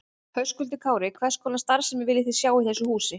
Höskuldur Kári: Hvers konar starfsemi viljið þið sjá í þessu húsi?